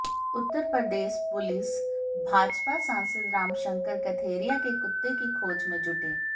उत्तर Pradesh police Bhajpa सांसद राम शंकर कथेरिया के कुत्ते की खोज में जुटी